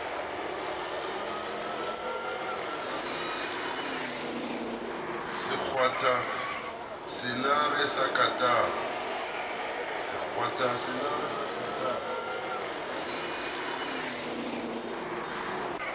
se kgwatha senare sa katara